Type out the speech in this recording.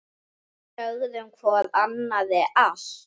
Sögðum hvor annarri allt.